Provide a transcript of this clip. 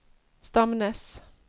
Stamnes